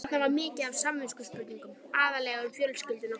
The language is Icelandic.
Þarna var mikið af samviskuspurningum, aðallega um fjölskylduna.